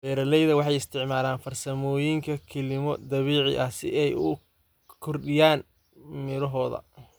Beeraleyda waxay isticmaalaan farsamooyinka kilimo dabiici ah si ay u kordhiyaan mirohooda.